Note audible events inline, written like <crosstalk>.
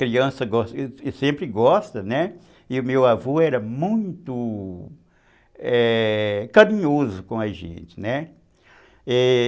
Criança <unintelligible> sempre gosta, né, e o meu avô era muito carinhoso com a gente, né. É...